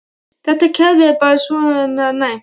Þetta kerfi er bara svona næmt.